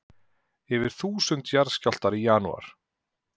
Yfir þúsund jarðskjálftar í janúar